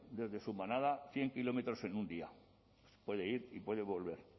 desde su manada cien kilómetros en un día puede ir y puede volver